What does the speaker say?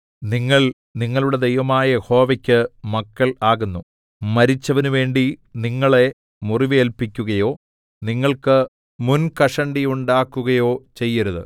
നിങ്ങൾ നിങ്ങളുടെ ദൈവമായ യഹോവയ്ക്ക് മക്കൾ ആകുന്നു മരിച്ചവനുവേണ്ടി നിങ്ങളെ മുറിവേല്പിക്കുകയോ നിങ്ങൾക്ക് മുൻകഷണ്ടിയുണ്ടാക്കുകയോ ചെയ്യരുത്